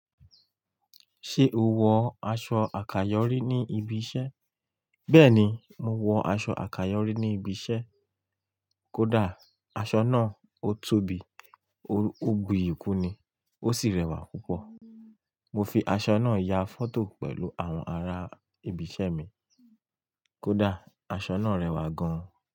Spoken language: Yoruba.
Ṣé o wọ aṣọ àkàyọ́rí ní ibi iṣẹ́? Bẹ́ẹ̀ni, mo wọ aṣọ àkàyọ́rí ní ibi iṣẹ́. Kódà aṣọ náà ó tóbi, ó buyì kún ni, ó sì rẹwà púpọ̀. Mo fi aṣọ náà ya fọ́tò pẹ̀lú àwọn ará ibi iṣẹ́ mi. Kódà aṣọ náà rẹwà gan.